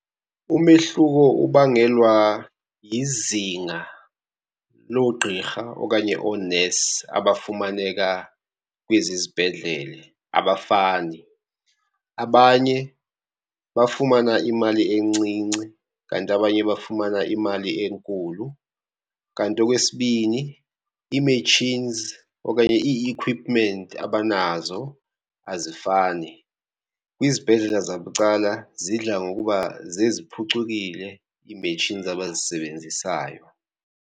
Umehluko ubangelwa yizinga loogqirha okanye oonesi abafumaneka kwezi zibhedlele abafani. Abanye bafumana imali encinci kanti abanye bafumana imali enkulu. Kanti okwesibini, ii-machines okanye i-equipment abanazo azifani. Kwizibhedlela zabucala zidla ngokuba zeziphucukile ii-machines abazisebenzisayo.